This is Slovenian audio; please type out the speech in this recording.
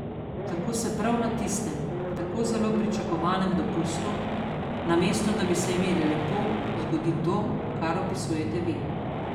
Tako se prav na tistem, tako zelo pričakovanem dopustu, namesto da bi se imeli lepo, zgodi to, kar opisujete vi.